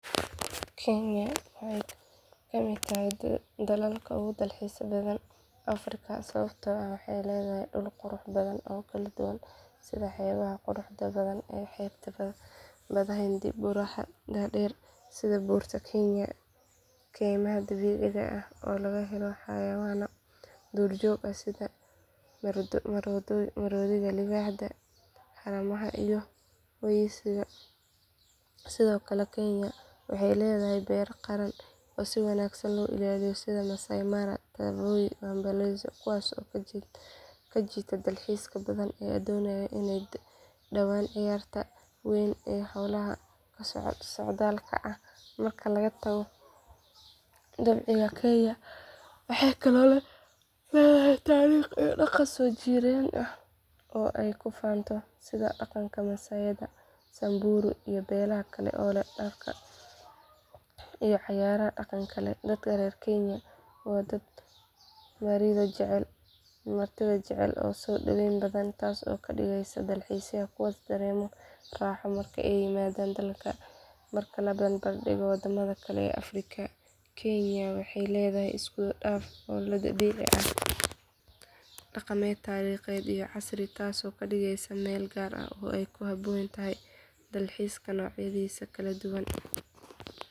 Kenya waxay ka mid tahay dalalka ugu dalxiiska badan Afrika sababtoo ah waxay leedahay dhul qurux badan oo kala duwan sida xeebaha quruxda badan ee xeebta badda hindiya buuraha dhaadheer sida buurta kenya keymaha dabiiciga ah oo laga helo xayawaanno duurjoog ah sida maroodiga libaaxa haramaha iyo wiyisha sidoo kale kenya waxay leedahay beeraha qaran oo si wanaagsan loo ilaaliyo sida maasai mara tsavo iyo amboseli kuwaas oo soo jiita dalxiisayaal badan oo doonaya inay daawadaan ciyaarta weyn ee xoolaha socdaalka ah marka laga tago dabiiciga kenya waxay kaloo leedahay taariikh iyo dhaqan soo jireen ah oo ay ku faanto sida dhaqanka masaaiyada samburu iyo beelaha kale ee leh dharka iyo ciyaaraha dhaqanka leh dadka reer kenya waa dad martida jecel oo soo dhawayn badan taas oo ka dhigaysa dalxiisayaasha kuwo dareema raaxo marka ay yimaadaan dalka marka la barbardhigo wadamada kale ee Afrika kenya waxay leedahay isku dhaf ah oo ah dabiici dhaqameed taariikheed iyo casri taasoo ka dhigaysa meel gaar ah oo ay ku habboon tahay dalxiiska noocyadiisa kala duwan.